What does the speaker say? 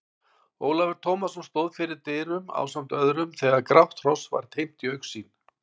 Ólafur Tómasson stóð fyrir dyrum ásamt öðrum þegar grátt hross var teymt í augsýn.